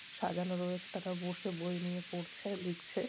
সাজানো রয়েছে তারা বসে বই নিয়ে পড়ছে লিখছে।